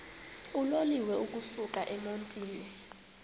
uloliwe ukusuk emontini